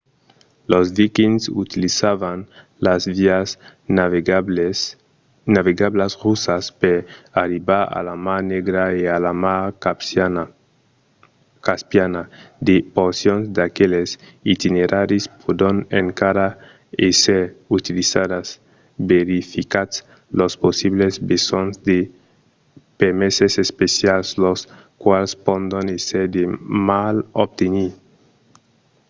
los vikings utilizavan las vias navegablas russas per arribar a la mar negra e a la mar caspiana. de porcions d’aqueles itineraris pòdon encara èsser utilizadas. verificatz los possibles besonhs de permeses especials los quals pòdon èsser de mal obtenir